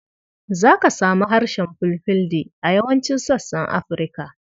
Za ka samu harshen Fulfulde a yawancin sassan Afirka.